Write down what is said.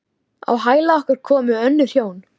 Á hæla okkar komu önnur hjón.